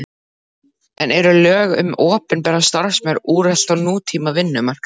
En eru lög um opinbera starfsmenn úrelt á nútíma vinnumarkaði?